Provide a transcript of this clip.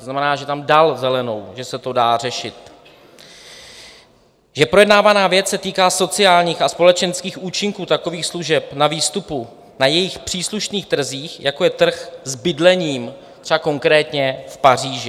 To znamená, že tam dal zelenou, že se to dá řešit, že projednávaná věc se týká sociálních a společenských účinků takových služeb na výstupu na jejich příslušných trzích, jako je trh s bydlením, třeba konkrétně v Paříži.